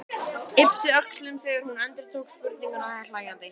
Yppti öxlum þegar hún endurtók spurninguna hlæjandi.